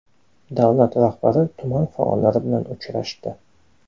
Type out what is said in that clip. Davlar rahbari tuman faollari bilan uchrashdi .